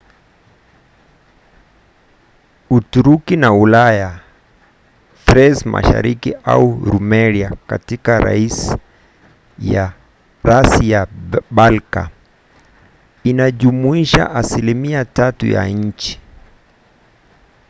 uturuki ya ulaya thrace mashariki au rumelia katika rasi ya balka inajumuisha asilimia 3 ya nchi